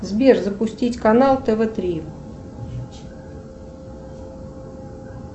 сбер запустить канал тв три